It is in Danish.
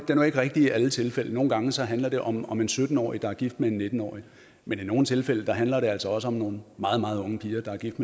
jo ikke rigtig i alle tilfælde nogle gange handler det om om en sytten årig der er gift med en nitten årig men i nogle tilfælde handler det altså også om nogle meget meget unge piger der er gift